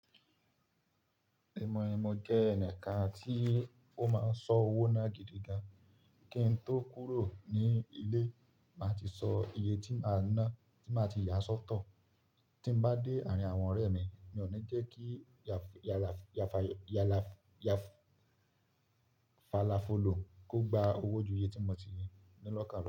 Ìmọ̀ ẹ̀ mọ̀ jẹ́ ẹ̀ka tí ó máa ń sọ owó náà gidigan. Kí n tó kúrò ní ilé, màá ti sọ iye tí màá náà tí màá ti yà sọ́tọ̀. Tí mò bá dé àárín àwọn ọ̀rẹ́ mi, mi ò ní jẹ́ kí yàfàlàfolò kó gba owó ju iye tí mo ti ní lọ́kàn lọ.